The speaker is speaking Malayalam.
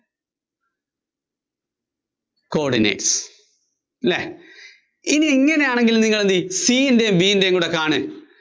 coordinates. അല്ലേ? ഇനി ഇങ്ങനെയാണെങ്കില്‍ നിങ്ങള്‍ എന്തു ചെയ്യും? C ന്‍റെയും B ന്‍റെയും കൂടെയാണ്